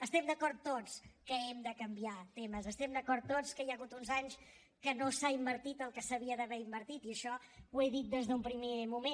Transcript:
estem d’acord tots que hem de canviar temes estem d’acord tots que hi ha hagut uns anys que no s’ha invertit el que s’hauria d’haver invertit i això ho he dit des d’un primer moment